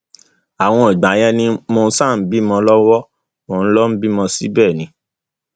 àwọn ìgbà yẹn ni mò ń ṣàbímọ lọwọ mo lọọ bímọ síbẹ ni